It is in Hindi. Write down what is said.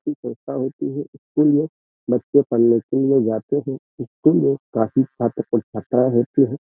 स्कूल में बच्चे पढने के लिए जाते हैं। स्कूल में काफी होती हैं।